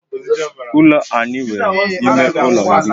Ụlọ anyị nwe ime ụlọ iri